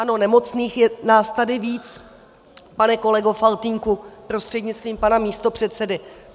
Ano, nemocných je nás tady víc, pane kolego Faltýnku, prostřednictvím pana místopředsedy.